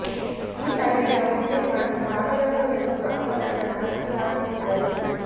ಈ idea okay ಮಾಡಿ ಸಾವಿರಕ್ಕೂ ಹೆಚ್ವು ಆಮಂತ್ರಣ ಅಚ್ಚು ಹಾಕಿಸಿದರು